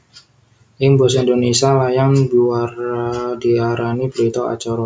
Ing basa Indonésia layang biwara diarani berita acara